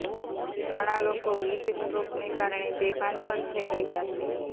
ઘણા લોકો હીટસ્ટ્રોકને કારણે બેભાન પણ થઈ રહ્યા છે